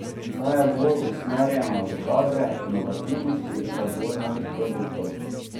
Ta je bolj usmerjena v kadre, inovativnost, razvoj novih produktov.